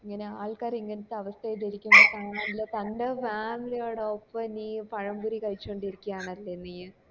ഇങ്ങനെ ആള്‍ക്കാര് ഇങ്ങനത്തെ അവസ്ഥേല് കാണാനില്ലെ തൻ്റെ family യോടൊപ്പം നീ പഴം പൊരി കഴിച്ചോണ്ട് ഇരിക്കുയാണല്ലേ നീ